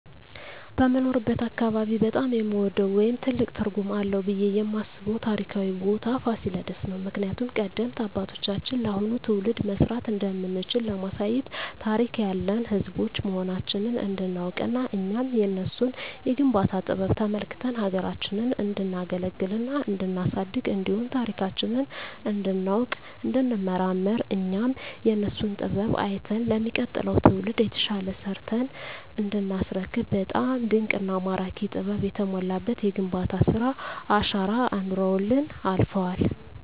በምኖርበት አካባቢ በጣም የምወደው ወይም ትልቅ ትርጉም አለዉ ብየ የማስበው ታሪካዊ ቦታ ፋሲለደስ ነው። ምክንያቱም ቀደምት አባቶቻችን ለአሁኑ ትውልድ መስራት እንደምንችል ለማሳየት ታሪክ ያለን ህዝቦች መሆናችንን እንዲናውቅና እኛም የነሱን የግንባታ ጥበብ ተመልክተን ሀገራችንን እንዲናገለግልና እንዲናሳድግ እንዲሁም ታሪካችንን እንዲናውቅ እንዲንመራመር እኛም የነሱን ጥበብ አይተን ለሚቀጥለው ትውልድ የተሻለ ሰርተን እንዲናስረክብ በጣም ድንቅና ማራኪ ጥበብ የተሞላበት የግንባታ ስራ አሻራ አኑረውልን አልፈዋል።